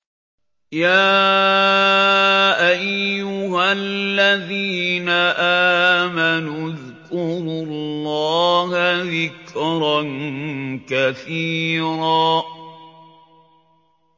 يَا أَيُّهَا الَّذِينَ آمَنُوا اذْكُرُوا اللَّهَ ذِكْرًا كَثِيرًا